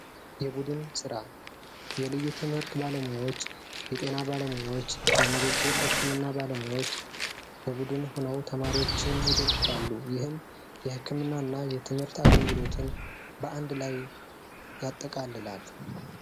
የቡድን ስራ የልዩ ትምህርት ባለሙያዎች የጤና ባለሙያዎች የንግግር ህክምና ባለሙያዎች ቡድን ሆነው ተማሪዎችን ይደግፋሉ ይህም የህክምና እና የትምህርት አገልግሎትን በአንድ ላይ ያጠቃልላል